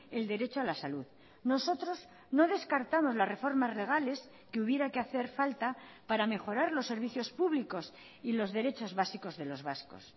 el derecho a la salud nosotros no descartamos las reformas legales que hubiera que hacer falta para mejorar los servicios públicos y los derechos básicos de los vascos